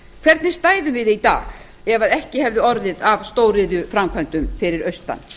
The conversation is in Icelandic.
hvernig stæðum við í dag ef að ekki hefði orðið af stóriðjuframkvæmdum fyrir austan